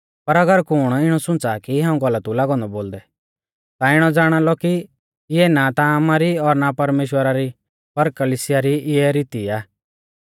पर अगर कुण इणौ सुंच़ा कि हाऊं गलत ऊ लागौ औन्दौ बोलदै ता इणौ ज़ाणालौ कि इऐ ना ता आमारी और ना परमेश्‍वरा री पर कलिसिया री इऐ रीती आ